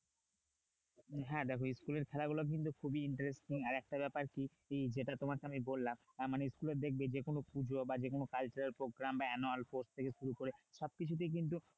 হ্যাঁ দেখো school এর খেলাগুলো কিন্তু খুবই interesting আর একটা ব্যাপার যেটা তোমাকে আমি বললাম আহ মানে school এ দেখবে যেকোন পুজো বা যেকোন cultural program, annual sports থেকে শুরু করে সব কিছুতেই কিন্তু